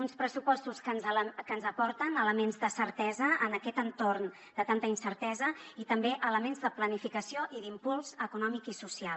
uns pressupostos que ens aporten elements de certesa en aquest entorn de tanta incertesa i també elements de planificació i d’impuls econòmic i social